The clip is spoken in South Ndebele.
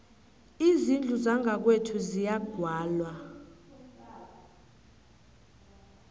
izindlu zangakwethu ziyagwalwa